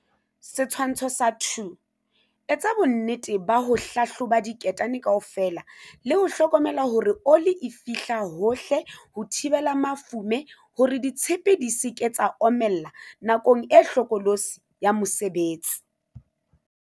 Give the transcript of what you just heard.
Setshwantsho sa 2. Etsa bonnete ba ho hlahloba diketane kaofela le ho hlokomela hore ole e fihla hohle ho thibela mafoome hore ditshepe di se ke tsa omella nakong e hlokolosi ya mosebetsi.